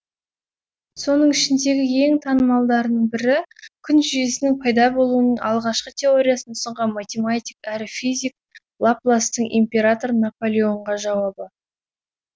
соның ішіндегі ең танымалдарының бірі күн жүйесінің пайда болуының алғашқы теориясын ұсынған математик әрі физик лапластың император наполеонға жауабы